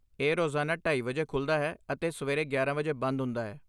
ਇਹ ਰੋਜ਼ਾਨਾ ਢਾਈ ਵਜੇ ਖੁੱਲ੍ਹਦਾ ਹੈ ਅਤੇ ਸਵੇਰੇ ਗਿਆਰਾਂ ਵਜੇ ਬੰਦ ਹੁੰਦਾ ਹੈ